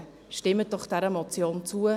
Stimmen Sie doch dieser Motion zu.